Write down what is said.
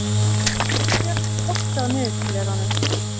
Albjört, slökktu á niðurteljaranum.